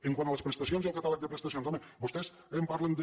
quant a les prestacions i el catàleg de prestacions home vostès em parlen de